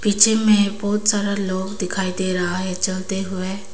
में बहुत सारा लोग दिखाई दे रहा है चलते हुए।